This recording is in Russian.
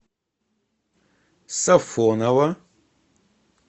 сафоново